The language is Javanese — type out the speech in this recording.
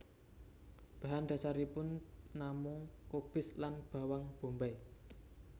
Bahan dasaripun namung kubis lan bawang bombay